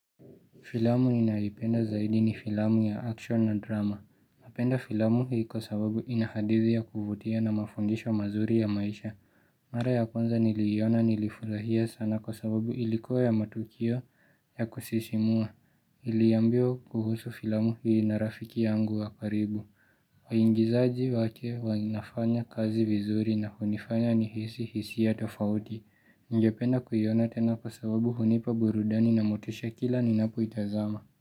Filamu ninaipenda zaidi ni filamu ya action na drama. Napenda filamu hii kwa sababu ina hadithi ya kuvutia na mafundisho mazuri ya maisha Mara ya kwanza niliiona nilifurahia sana kwa sababu ilikuwa na matukio ya kusisimua. Niliambiwa kuhusu filamu hii na rafiki yangu wa karibu waigizaji wake wanafanya kazi vizuri na hunifanya nihisi hisia tofauti Ningependa kuiona tena kwa sababu hunipa burudani na motisha kila ninapoitazama.